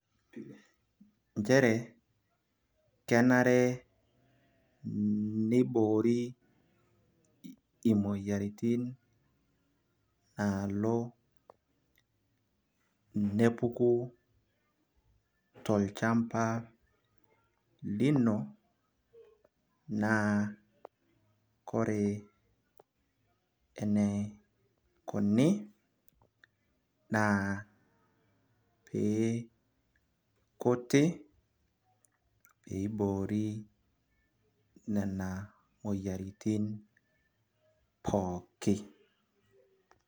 inchere kenare niboori, imoyiaritiin naaalo nepuku tolchampa lino. naa kore eneikoni naa ee kuti pee eiboori nena moyiaritin pookin.